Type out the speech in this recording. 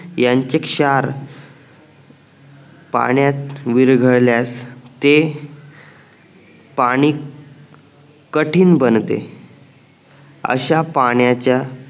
यांचे क्षार पाण्यात विरघळल्यास ते पाणी कठीण बनते अश्या पाण्याच्या